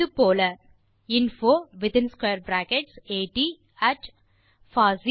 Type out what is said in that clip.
இது போல infoatfosseedotin